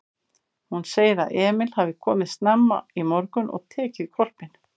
Hún segir að Emil hafi komið snemma í morgun og tekið hvolpinn.